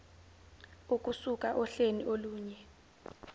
ukusuka ohleni olunye